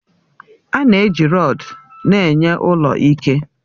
A na-eji rọdu na-enye ụlọ ike